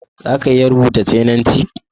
Za ka iya rubuta cananci?